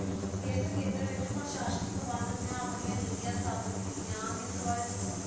ਇਸ ਖੇਤਰ ਵਿੱਚ ਪ੍ਰਸ਼ਾਨੀਕ ਵੰਡ ਦਿਆਂ ਆਪਣਿਆਂ ਨੀਤੀਆ ਸਥਾਪਿਤ ਕੀਤਿਆਂ ਹਨ ਇਸ ਬਾਰੇ ਦਸੋ